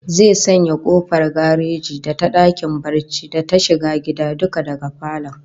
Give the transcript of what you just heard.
Zai sanya kofar gareji da ta dakin barci da ta shiga gida duka daga falon